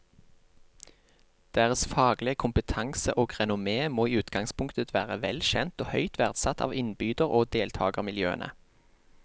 Deres faglige kompetanse og renommé må i utgangspunktet være vel kjent og høyt verdsatt av innbyder og deltagermiljøene.